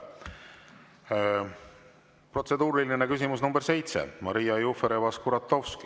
Protseduuriline küsimus nr 7, Maria Jufereva-Skuratovski.